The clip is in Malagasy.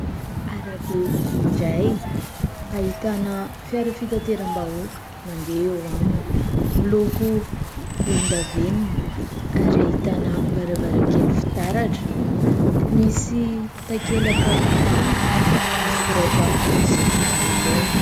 Arabe iray ahitana fiara fitateram-bahoaka mandeha eo aminy, miloko volondavenona, ary ahitana varavarankely fitaratra. Misy takelaka manga misy soratra fotsy eo anoloana.